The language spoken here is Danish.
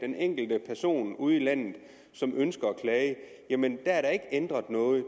den enkelte person ude i landet som ønsker at klage jamen der er der ikke ændret noget